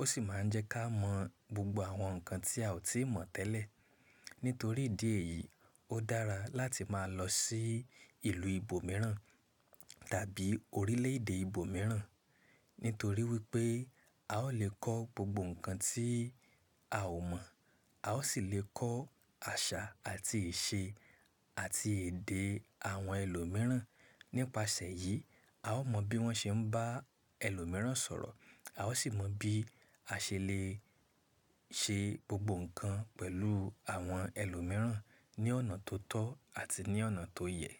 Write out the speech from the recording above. Ó sì máa ń jẹ́ ká mọ̀ gbogbo àwọn nǹkan tí a ò tíì mọ̀ tẹ́lẹ̀. Nítorí ìdí èyí, ó dára láti máa lọ sí ìlú ibòmíràn tàbí orílẹ̀-èdè ibòmíràn. Nítorí wípé a ó lè kọ́ gbogbo nǹkan tí a ò mọ̀, a ó sì lè kọ́ àṣà àti ìṣe àti èdè àwọn ẹlòmíràn. Nípasẹ̀ èyí, a ó mọ̀ bí wón ṣe ń bá ẹlòmíràn sọ̀rọ̀, a ó sì mọ̀ bí a ṣe lè ṣe gbogbo nǹkan pẹ̀lú àwọn ẹlòmíràn ní ọ̀nà tó tọ́ àti ní ọ̀nà tó yẹ.